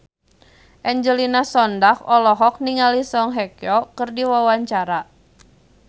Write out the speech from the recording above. Angelina Sondakh olohok ningali Song Hye Kyo keur diwawancara